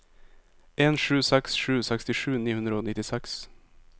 en sju seks sju sekstisju ni hundre og nittiseks